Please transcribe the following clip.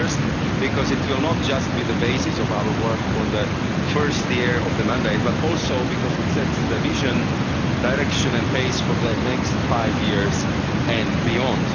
First, because it will not just be the basis of our work for the first year of the mandate but also because it sets the vision, direction and pace for the next five years and beyond.